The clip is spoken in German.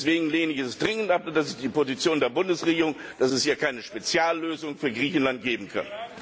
Deswegen lehne ich es entschieden ab und das ist die Position der Bundesregierung dass es hier keine Speziallösung für Griechenland geben kann.